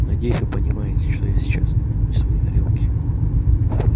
надеюсь вы понимаете что я сейчас не в своей тарелке